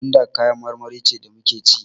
Gwanda kayan marmari ce da muke ci.